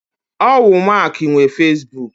Owu Mark nwe Fesibuku.